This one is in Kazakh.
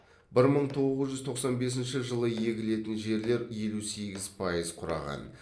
бір мың тоғыз жүз тоқсан бесінші жылы егілетін жерлер елу сегіз пайыз құраған